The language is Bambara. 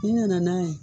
N'i nana n'a ye